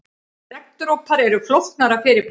Regndropar eru flóknara fyrirbæri.